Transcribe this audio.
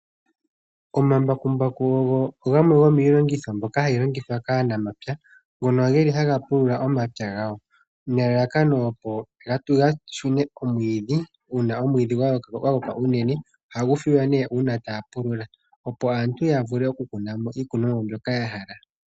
Omambakumbaku ogo gamwe gomiilongitho mbyoka hayi longithwa kaanamapya. Ngono geli haga pulula omapya gawo nelalakano opo ga tete omwiidhi uuna omwiidhi gwa koka unene . Ohagu filwa nee uuna ta ya pulula opo aantu yavule oku kuna mo iikunomwa mbyoka ya hala.